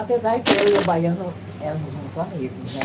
Apesar que eu e o baiano éramos muito amigos, né?